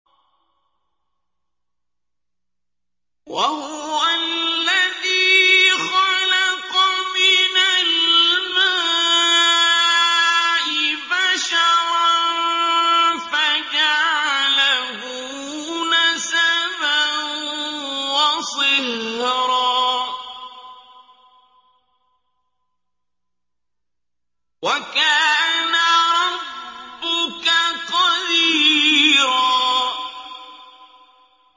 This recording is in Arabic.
وَهُوَ الَّذِي خَلَقَ مِنَ الْمَاءِ بَشَرًا فَجَعَلَهُ نَسَبًا وَصِهْرًا ۗ وَكَانَ رَبُّكَ قَدِيرًا